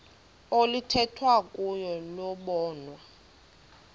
oluthethwa kuyo lobonwa